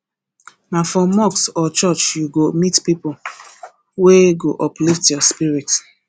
na for mosque or church you go meet people wey go uplift your spirit